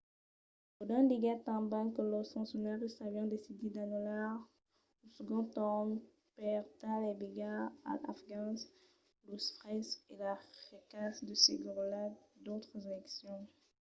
lodin diguèt tanben que los foncionaris avián decidit d'anullar lo segond torn per tal d'evitar als afgans los fraisses e las riscas de seguretat d'autras eleccions